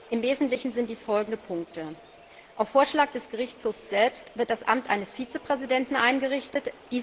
Im Wesentlichen sind dies folgende Punkte Auf Vorschlag des Gerichtshofs selbst wird das Amt eines Vizepräsidenten eingerichtet.